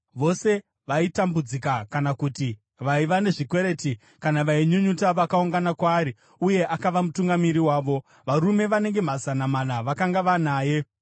Vose vaitambudzika kana kuti vaiva nezvikwereti, kana vainyunyuta vakaungana kwaari uye akava mutungamiri wavo. Varume vanenge mazana mana vakanga vanaye.